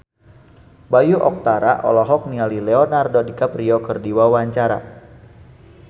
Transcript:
Bayu Octara olohok ningali Leonardo DiCaprio keur diwawancara